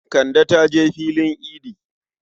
Kande ta je filin idi.